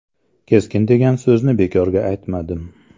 Keskin degan so‘zni bekorga aytmadim.